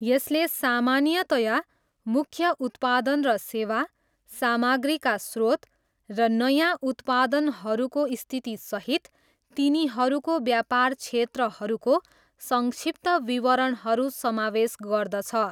यसले सामान्यतया मुख्य उत्पादन र सेवा, सामग्रीका स्रोत र नयाँ उत्पादनहरूको स्थितिसहित तिनीहरूको व्यापार क्षेत्रहरूको सङ्क्षिप्त विवरणहरू समावेश गर्दछ।